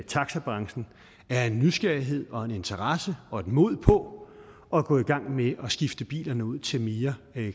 taxabranchen er en nysgerrighed og interesse og et mod på at gå i gang med at skifte bilerne ud til mere